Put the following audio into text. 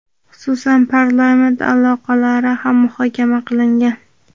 xususan parlament aloqalari ham muhokama qilingan.